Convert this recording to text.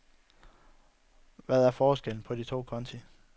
Hvad er forskellen på de to konti?